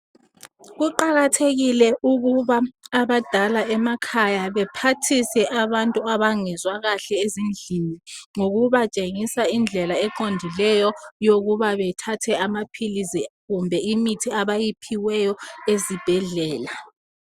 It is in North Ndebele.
Kuqakathekile ukuba abadala emakhaya baphathise abantu abadala emakhaya baphathise ezindlini ngokuba tshengisa indlela eqondileyo yokuba bethathe amaphilisi kumbe imithi abayiphiweyo ezibhedlela.